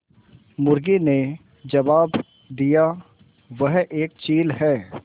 मुर्गी ने जबाब दिया वह एक चील है